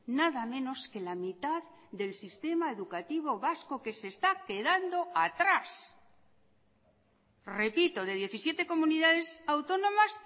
nada menos que la mitad del sistema educativo vasco que se está quedando atrás repito de diecisiete comunidades autónomas